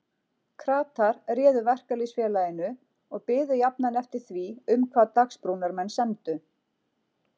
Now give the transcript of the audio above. Kratar réðu Verkalýðsfélaginu og biðu jafnan eftir því um hvað Dagsbrúnarmenn semdu.